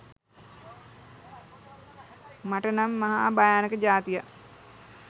මට නම් මහා භයානක ජාතියක්